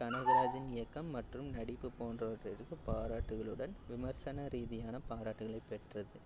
கனகராஜின் இயக்கம் மற்றும் நடிப்பு போன்றவற்றிற்கு பாராட்டுகளுடன் விமர்சன ரீதியான பாராட்டுகளைப் பெற்றது